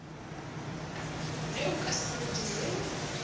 ge o ka se dire